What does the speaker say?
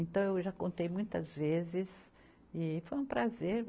Então, eu já contei muitas vezes e foi um prazer.